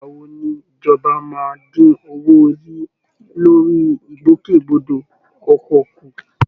Ìgbà wo ni ìjọba máa dín owó orí lórí ìgbòkègbodò ọkọ̀ kù?